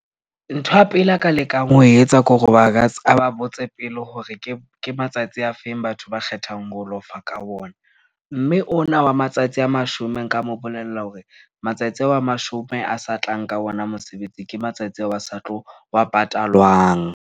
Ntho ya pele a ka lekang ho etsa kore aba botse pele hore ke matsatsi a feng batho ba kgethang ho lofa ka ona. Mme ona wa matsatsi a mashome nka mo bolella hore matsatsi ao a mashome a sa tlang ka ona mosebetsi, ke matsatsi ao a sa tlo wa patalwang.